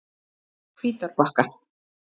Hvítárbakka